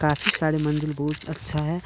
सारे मंदिर बहुत अच्छा है।